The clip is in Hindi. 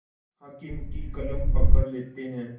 हाकिम की कलम पकड़ लेते हैं